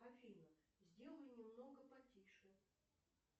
афина сделай немного потише